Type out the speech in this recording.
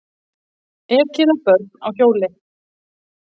Ekið á börn á hjóli